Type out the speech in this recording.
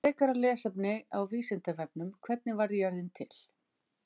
Frekara lesefni á Vísindavefnum: Hvernig varð jörðin til?